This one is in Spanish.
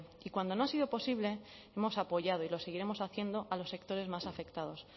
y cuando no ha sido posible hemos apoyado y lo seguiremos haciendo a los sectores más afectados